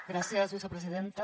gràcies vicepresidenta